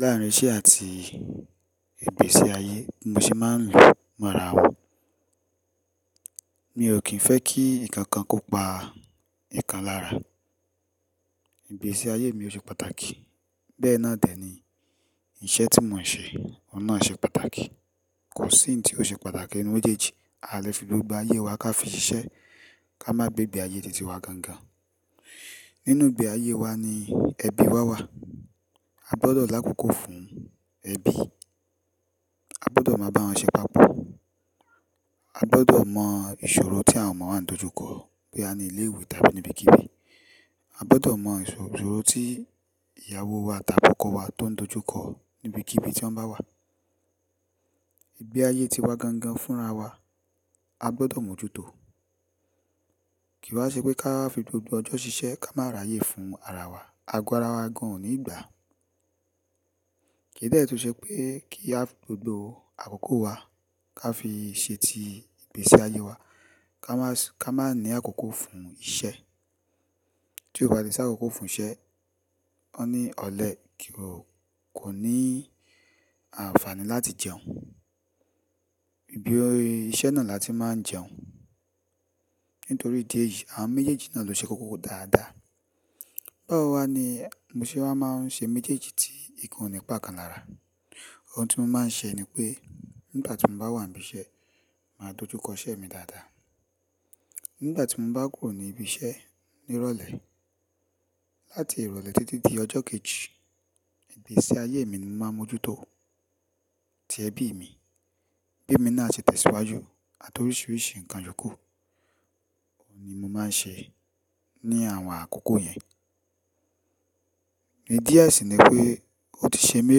Láàárín iṣẹ́ àti ìgbésí ayé, mo sì máa ń lù mọ́ra wò. Mi ò kí ń fẹ́ kí nǹkan kan kó pa nǹkan lára. Ìgbésí ayé mi ò ṣe pàtàkì, bẹ́ẹ̀ náà dẹ̀ ni iṣẹ́ tí mo ń ṣe, ọ̀nà ṣe pàtàkì. Kò sí ohun tí ó ṣe pàtàkì nínú ojèji. A lè fi gbogbo ayé wa ká fi ṣiṣẹ́, ká má gbé ibi ayé titi wa gangan. Nínú ibi ayé wa ni ẹbí wa wà. A gbọ́dọ̀ lákòókò fún ẹbí. A gbọ́dọ̀ máa bá wọn ṣe papọ̀. A gbọ́dọ̀ mọ ìṣòro tí àwọn ọmọ wa ń dojú kọ̀ pé a ní ilé ìwé tàbí níbi kí bí. A gbọ́dọ̀ mọ ìṣòro tí ìyàwó wa tàbí ọkọ wa tó ń dojú kọ̀ níbi kí bí tí wọ́n bá wà. Ibi ayé ti wa gangan fúnra wa, a gbọ́dọ̀ mójútò. Kìí ṣe pé ká fi gbogbo ọjọ́ ṣiṣẹ́ ká máa ráyè fún ara wa, a gbọ́ ara wa gan-an nígbà. Kì í dẹ́ẹ̀ tí ó ṣe pé kí a fi gbogbo àkókò wa ká fi ṣeti ìgbésí ayé wa, ká má ní àkókò fún iṣẹ́. Tí o ba ti sa àkókò fún iṣẹ́, ọ ní ọ̀lẹ kì ó ní àǹfààní láti jẹun. Ibi orí iṣẹ́ náà la ti máa ń jẹun. Nítorí ìdí èyí, àwọn méjèèjì náà ló ṣe kókó dáadáa. Báwo wá ni mo ṣe wá máa ń ṣe méjèèjì tí nǹkan ò ní pa kan lára. Ohun tí mo máa ń ṣe ni pé nígbà tí mo bá wà níbí iṣẹ́, màá dojú kọ iṣẹ́ mi dáadáa. Nígbà tí mo bá kúrò ní ibi iṣẹ́ ní ìrọ̀lẹ́, láti ìrọ̀lẹ́ títí di ọjọ́ kejì, ìgbésí ayé mi ni mo máa ń mójútò atí ẹbí mi, bí mi náà ṣe tẹ̀síwájú àti oríṣiríṣi nǹkan yoo kú. Òun ni mo máa ń ṣe ní àwọn àkókò yẹn. Idí e sí i ni pé ó ti ṣe mi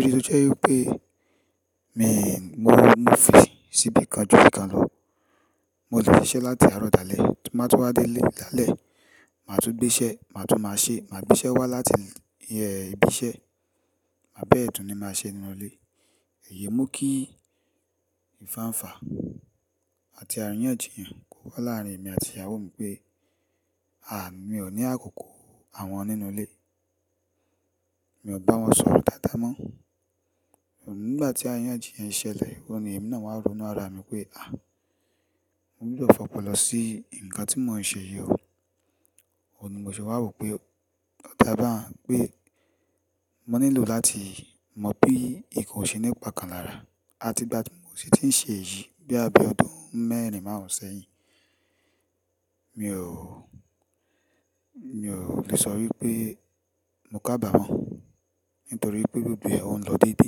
ri tó jẹ́ wípé mi ò mú òfin síbí kan ju bí kan lọ. Mo ti gbé iṣẹ́ láti àárọ̀ dalẹ́, máa tó wá dé ilé lálẹ́, màá tún gbé iṣẹ́, màá tún máa ṣe, màá gbé iṣẹ́ wá láti iyẹn ibi iṣẹ́, àbẹ́ẹ̀dún ni màá ṣe nínú ilé. Ẹ̀yẹ mú kí ìfàǹfa àti àríyànjiyàn kó wá láàárín èmi àti ìyàwó mi pé, à, mi ò ní àkókò àwọn nínú ilé. Mi ò bá wọn sọ̀rọ̀ dáadáa mọ́. Òun nígbà tí àríyànjiyàn ṣẹlẹ̀, òun ni èmi náà wáa ń ronú ara mi pé, à, mo nílò fọpọlọ sí nǹkan tí mò ń ṣe yìí o. Òun ni mo ṣe wá wò pé lọ́ tí a bá ń gbé, mo nílò láti mọ̀ bí nǹkan ò ṣe nípa kan lára. Àti ìgbà tí mò sí ti ń ṣe èyí bíi abẹ́ ọdún mẹ́rin márùn-ún sẹ́yìn, mi ò, mi ò le sọ wípé mo kàbàmọ nítorí pé gbogbo è ó ń lọ dédé.